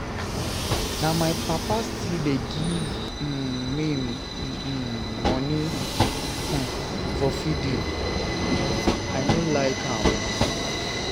Na my papa wey still dey give um me um money um for feeding ,vi no like am.